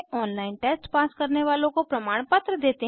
online test pass करने वालों को प्रमाणपत्र देते हैं